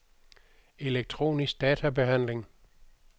elektronisk databehandling